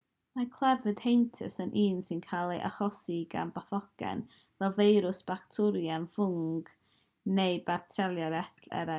mae clefyd heintus yn un sy'n cael ei achosi gan bathogen fel feirws bacteriwm ffwng neu barasitiaid eraill